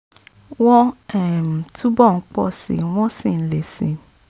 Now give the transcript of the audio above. wọ́n um túbọ̀ ń pọ̀ síi wọ́n sì ń le síi